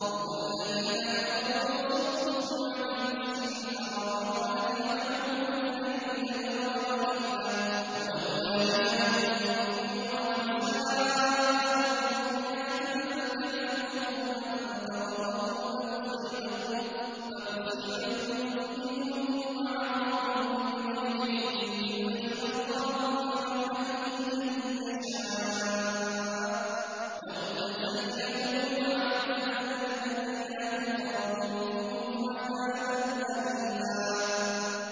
هُمُ الَّذِينَ كَفَرُوا وَصَدُّوكُمْ عَنِ الْمَسْجِدِ الْحَرَامِ وَالْهَدْيَ مَعْكُوفًا أَن يَبْلُغَ مَحِلَّهُ ۚ وَلَوْلَا رِجَالٌ مُّؤْمِنُونَ وَنِسَاءٌ مُّؤْمِنَاتٌ لَّمْ تَعْلَمُوهُمْ أَن تَطَئُوهُمْ فَتُصِيبَكُم مِّنْهُم مَّعَرَّةٌ بِغَيْرِ عِلْمٍ ۖ لِّيُدْخِلَ اللَّهُ فِي رَحْمَتِهِ مَن يَشَاءُ ۚ لَوْ تَزَيَّلُوا لَعَذَّبْنَا الَّذِينَ كَفَرُوا مِنْهُمْ عَذَابًا أَلِيمًا